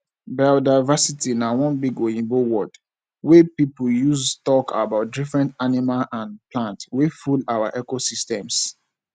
biodiversity na one big oyibo word wey pipo dey use talk about different animal and plant wey full our ecosystems